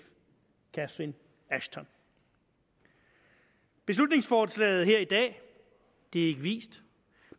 catherine ashton beslutningsforslaget her i dag er ikke vist